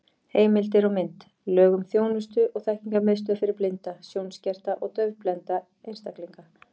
Heimildir og mynd: Lög um þjónustu- og þekkingarmiðstöð fyrir blinda, sjónskerta og daufblinda einstaklinga.